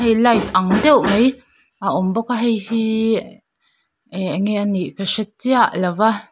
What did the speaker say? light ang deuh mai a awm bawk a heihi e enge anih ka hre chiah lo a.